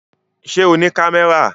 Ṣé o ní kámẹ́rà?